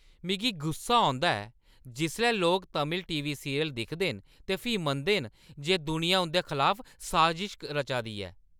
मिगी गुस्सा औंदा ऐ जिसलै लोक तमिल टी. वी. सीरियल दिखदे न ते फ्ही मनदे न जे दुनिया उंʼदे खलाफ साजश रचा 'रदी ऐ ।